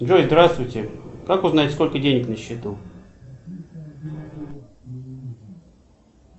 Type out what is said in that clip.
джой здравствуйте как узнать сколько денег на счету